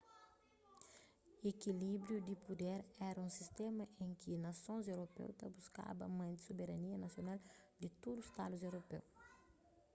ekilíbriu di puder éra un sistéma en ki nasons europeu ta buskaba mante soberania nasional di tudu stadus europeu